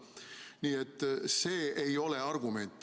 Nii et see ei ole argument.